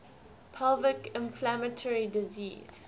pelvic inflammatory disease